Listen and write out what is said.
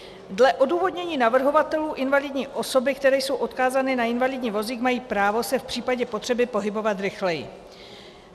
Dle odůvodnění navrhovatelů invalidní osoby, které jsou odkázány na invalidní vozík, mají právo se v případě potřeby pohybovat rychleji.